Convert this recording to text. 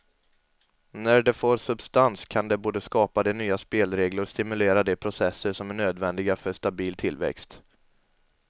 När det får substans kan det både skapa de nya spelregler och stimulera de processer som är nödvändiga för stabil tillväxt.